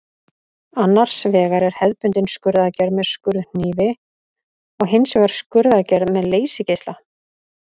Annars vegar er hefðbundin skurðaðgerð með skurðhnífi og hins vegar skurðaðgerð með leysigeisla.